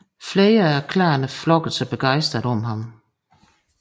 Flere af klanerne flokkede sig begejstret om ham